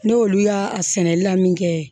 N'olu y'a sɛnɛli la min kɛ